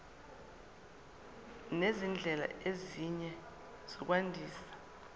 nezindlela ezinye zokwandisa